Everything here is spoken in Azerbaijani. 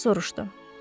atası soruştu.